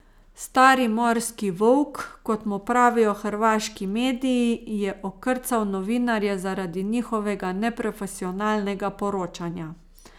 Stari morski volk, kot mu pravijo hrvaški mediji, je okrcal novinarje zaradi njihovega neprofesionalnega poročanja.